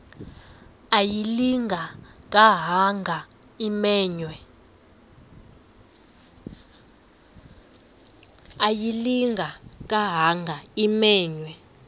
ayilinga gaahanga imenywe